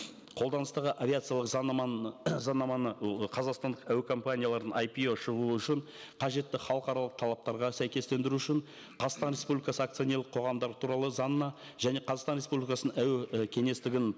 қолданыстағы авиациялық заңнаманы заңнаманы қазақстандық әуекомпанияларын ай пи о шығу үшін қажетті халықаралық талаптарға сәйкестендіру үшін қазақстан республикасы акционерлік қоғамдар туралы заңына және қазақстан республикасының әуе і кеңістігін